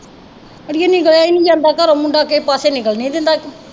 ਆੜੀਏ ਜਾਇਆ ਹੀ ਨੀ ਜਾਂਦਾ ਘਰੋਂ ਮੁੰਡਾ ਕਿਸੇ ਪਾਸੇ ਨਿਕਲਣ ਨੀ ਦਿੰਦਾ।